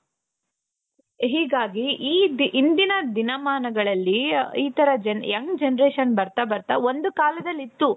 ಹೀಗಾಗಿ ಈ ಇಂದಿನ ದಿನಮಾನಗಳಲ್ಲಿ ಈತರ young generation ಬರ್ತಾ ಬರ್ತಾ ಒಂದು ಕಾಲದಲ್ಲಿ ಇತ್ತು.